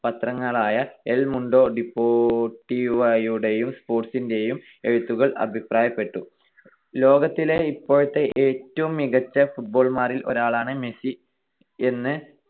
പത്രങ്ങളായ El Mundo ഡിപോർട്ടീവോയുടേയും സ്പോർട്ടിന്റേയും എഴുത്തുകാർ അഭിപ്രായപ്പെട്ടു. ലോകത്തിലെ ഇപ്പോഴത്തെ ഏറ്റവും മികച്ച Footballer മാരിൽ ഒരാളാണ് മെസ്സിയെന്ന്